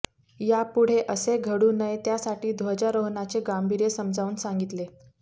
या पुढे असे घडू नये त्यासाठी ध्वजारोहणाचे गांभीर्य समजावून सांगितले